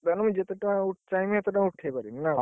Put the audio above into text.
ତାହେନେ ମୁଁ ଜେତେଟଙ୍କା ଚାହିଁବି, ସେତେ ଟଙ୍କା ଉଠେଇ ପାରିବି ନା ଙ୍କ?